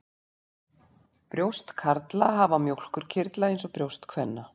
Brjóst karla hafa mjólkurkirtla eins og brjóst kvenna.